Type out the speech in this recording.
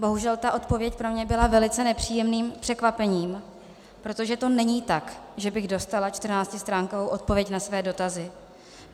Bohužel ta odpověď pro mě byla velice nepříjemným překvapením, protože to není tak, že bych dostala čtrnáctistránkovou odpověď na své dotazy.